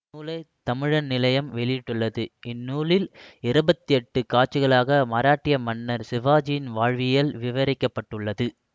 இந்நூலை தமிழன் நிலையம் வெளியிட்டுள்ளது இந்நூலில் இருபத்து எட்டு காட்சிகளாக மராட்டிய மன்னர் சிவாஜியின் வாழ்வியல் விவரிக்க பட்டுள்ளது